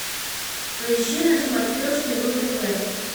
поищи на смотрешке ру тв